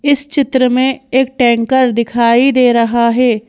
इस चित्र में एक टैंकर दिखाई दे रहा है।